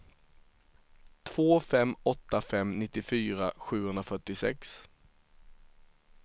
två fem åtta fem nittiofyra sjuhundrafyrtiosex